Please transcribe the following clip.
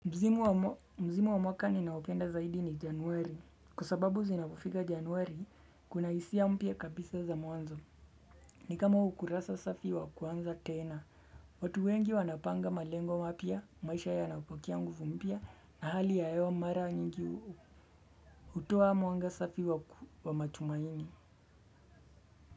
Msimu wa mwaka ninaopenda zaidi ni januari. Kwa sababu zinapofika januari, kuna hisia mpya kabisa za mwanzo. Ni kama ukurasa safi wa kuanza tena. Watu wengi wanapanga malengo mapya, maisha yanapokea nguvu mpya, na hali ya hewa mara nyingi hutoa mwanga safi wa matumaini.